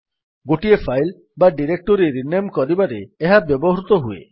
ଗୋଟିଏ ଫାଇଲ୍ ବା directory rename କରିବାରେ ଏହା ବ୍ୟବହୃତ ହୁଏ